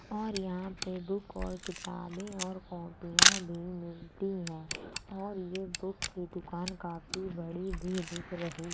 और यहाँ पे बुक और किताबे और कॉपीया भी मिलती हैं और ये बुक की दुकान काफ़ी बड़ी भी दिख रही --